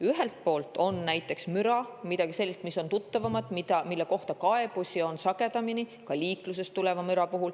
Müra on näiteks midagi sellist, mis on tuttavam ja mille kohta on kaebusi sagedamini, ka liiklusest tuleneva müra puhul.